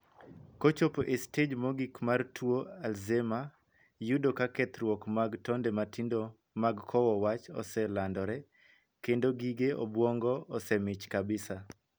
Kochopo e stej mogik mar tuo 'Alzheimers', yudo ka kethruok mag tonde matindo mag kowo wach oselandore, kendo gige obuongo osemich kabisa.